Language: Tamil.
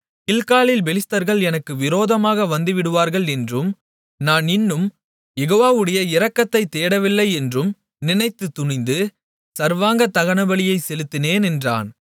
கில்காலில் பெலிஸ்தர்கள் எனக்கு விரோதமாக வந்துவிடுவார்கள் என்றும் நான் இன்னும் யெகோவாவுடைய இரக்கத்தைத் தேடவில்லை என்றும் நினைத்துத் துணிந்து சர்வாங்க தகனபலியைச் செலுத்தினேன் என்றான்